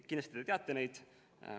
Kindlasti te teate neid.